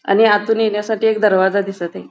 आणि आतून येण्यासाठी एक दरवाजा दिसतये.